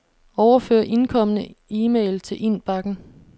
Overfør indkomne e-mail til indbakken.